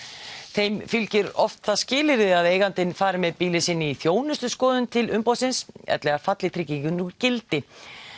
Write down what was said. þeim fylgir oft það skilyrði að eigandinn fari með bílinn sinn í þjónustuskoðun til umboðsins ellegar falli tryggingin úr gildi